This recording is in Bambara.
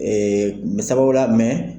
Ee n bɛ sababula